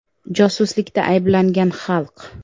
Josuslikda ayblangan xalq.